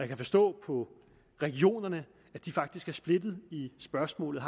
kan forstå på regionerne at de faktisk er splittet i spørgsmålet